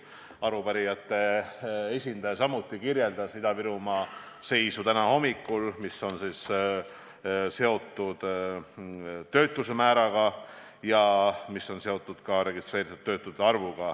Arupärijate esindaja kirjeldas ka Ida-Virumaa seisu täna hommikul, mis puudutab töötuse määra ja registreeritud töötute arvu.